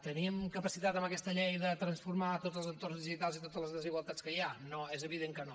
teníem capacitat amb aquesta llei de transformar tots els entorns digitals i totes les desigualtats que hi ha no és evident que no